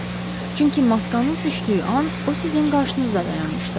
Çünki maskanız düşdüyü an o sizin qarşınızda dayanmışdı.